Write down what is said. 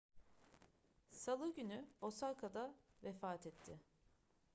salı günü osaka'da vefat etti